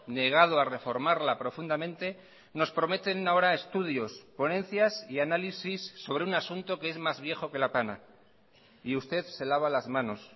negado a reformarla profundamente nos prometen ahora estudios ponencias y análisis sobre un asunto que es más viejo que la tana y usted se lava las manos